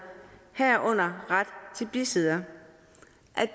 herunder ret til besidder